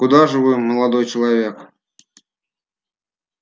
куда же вы молодой человек